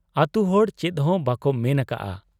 ᱟᱹᱛᱩᱦᱚᱲ ᱪᱮᱫᱦᱚᱸ ᱵᱟᱠᱚ ᱢᱮᱱ ᱟᱠᱟᱜ ᱟ ᱾